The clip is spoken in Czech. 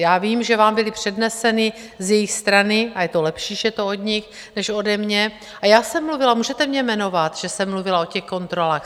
Já vím, že vám byly předneseny z jejich strany - a je to lepší, když je to od nich než ode mě, a já jsem mluvila, můžete mě jmenovat, že jsem mluvila o těch kontrolách.